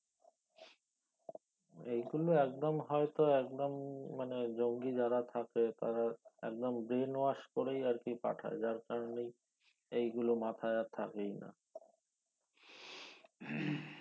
এই গুলো একদম হয়তো একদম~ মানে জঙ্গি যারা থাকে তারা একদম Brain wash করেই আর কি পাঠায় যার করনে এই গুলো মাথায় আর থাকেই না